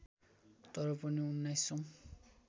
तर पनि उन्नाइसौँ